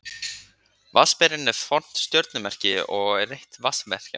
Vatnsberinn er fornt stjörnumerki og er eitt vatnsmerkjanna.